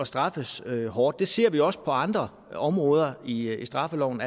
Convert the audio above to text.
straffes hårdt det ser vi også på andre områder i straffeloven